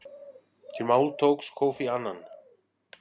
Til máls tók Kofi Annan.